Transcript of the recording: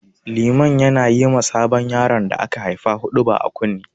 Liman na yi ma sabon yaron da aka haifa huɗuba a kunne.